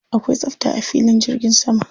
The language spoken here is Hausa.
Akwai tsafta a filin jirgi sama.